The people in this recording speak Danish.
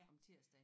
Om tirsdagen